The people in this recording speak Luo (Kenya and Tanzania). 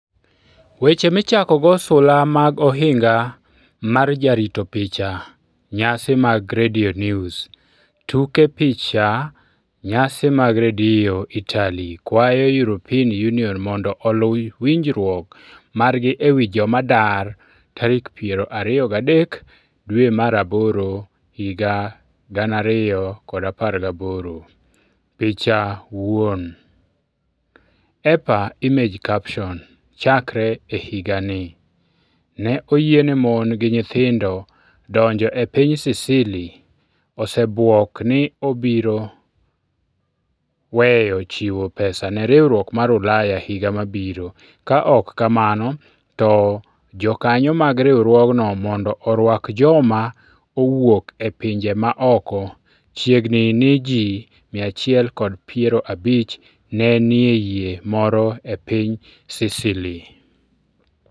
Weche Michakogo Sula mag Ohinga mar Jarito Picha Nyasi mag Radio News Tuke Picha Nyasi mag Radio Italy kwayo European Union mondo oluw winjruok margi e wi joma dar 23 Agost 2018 Picha wuon, EPA Image caption Chakre e higani, ne oyiene mon gi nyithindo donjo e piny Sicily osebwok ni obiro weyo chiwo pesa ne riwruok mar Ulaya higa mabiro, ka ok kamano to jokanyo mag riwruogno mondo orwak joma owuok e pinje maoko Chiegni ni ji 150 ne nie yie moro e piny Sicily.